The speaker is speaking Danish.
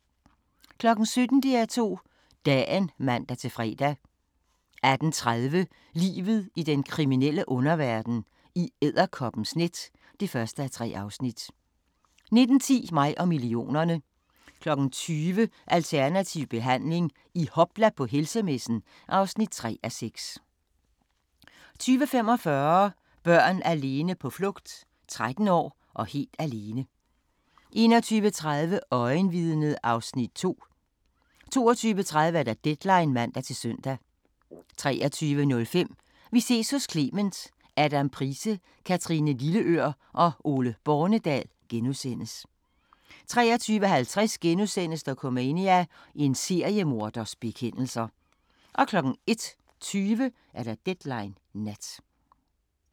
17:00: DR2 Dagen (man-fre) 18:30: Livet i den kriminelle underverden – I edderkoppens net (1:3) 19:10: Mig og millionerne 20:00: Alternativ behandling – i hopla på helsemessen (3:6) 20:45: Børn alene på flugt: 13 år og helt alene 21:30: Øjenvidnet (Afs. 2) 22:30: Deadline (man-søn) 23:05: Vi ses hos Clement: : Adam Price, Kathrine Lilleør og Ole Bornedal * 23:50: Dokumania: En seriemorders bekendelser * 01:20: Deadline Nat